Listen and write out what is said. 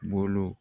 Bolo